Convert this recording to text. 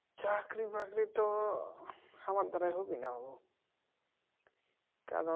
চাকরি বাকরি তো আমার দ্বারা হবেনা গো